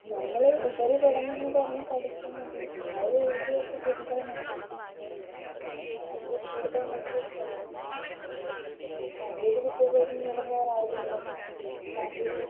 നമ്മള് ഉപരിപഠനംന്ന് പറഞ്ഞ് പഠിക്കുന്നത് ആരോ എഴുതി വെച്ച കൃതികള് മാത്രാണ് അതില് കൂടുതല് നമ്മള് പഠിക്കാൻ